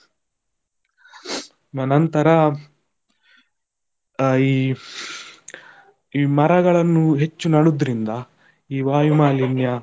ನಂತರ ಅಹ್ ಈ ಮರಗಳನ್ನು ಹೆಚ್ಚು ನಡುದರಿಂದ, ಈ ವಾಯು ಮಾಲಿನ್ಯ.